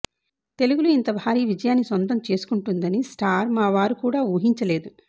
తెలుగులో ఇంత భారీ విజయాన్ని సొంతం చేసుకుంటుందని స్టార్ మా వారు కూడా ఊహించలేదు